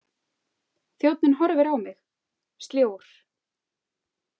Þjónninn horfir á mig, sljór.